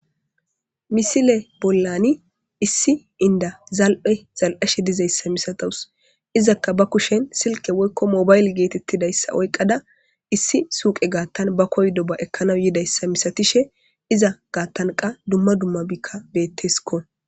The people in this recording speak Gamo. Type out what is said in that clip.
Misile bollani issi inda zal'e zal'ashe dizayssa misatous izakka ba kushen silke woykko mobayle geetettidayssa oyqada issi suuqe gaattan ba koydo ba ekkanaw yidayssa misatishe iza gaattanqa dumma dummabiikka betteskko.